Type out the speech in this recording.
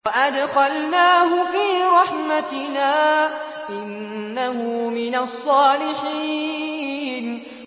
وَأَدْخَلْنَاهُ فِي رَحْمَتِنَا ۖ إِنَّهُ مِنَ الصَّالِحِينَ